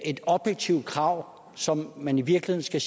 et objektivt krav som man i virkeligheden skal